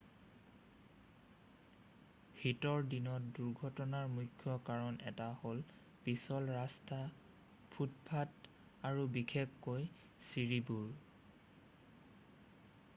শীতৰ দিনত দুৰ্ঘটনাৰ মুখ্য কাৰণ এটা হ'ল পিছল ৰাস্তা ফুটপথ আৰু বিশেষকৈ ছিৰিবোৰ